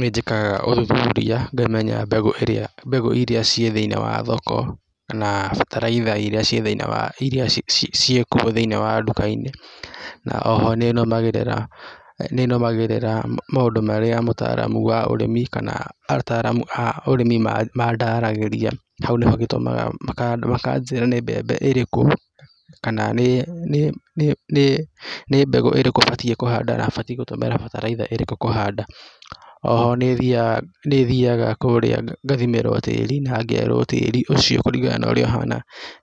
Nĩnjĩkaga ũthuthuria ngamenya mbegũ iria ciĩ thĩinĩ wa thoko na bataraitha iria ciĩkuo thĩinĩ wa nduka-inĩ na oho nĩnũmagĩrĩra maũndũ marĩa mũtaramu wa ũrĩmi kana ataramu a ũrĩmi mandaragĩria, hau nĩho hatũmaga makanjĩra nĩ mbembe ĩrĩkũ kana nĩ mbegũ ĩrĩkũ batiĩ kũhanda na batiĩ gũtũmĩra bataraitha ĩrĩkũ kũhanda. Oho nĩthiaga kũrĩa ngathimĩrwo tĩri na ngerwo tĩri ũcio kũringana na ũrĩa ũhana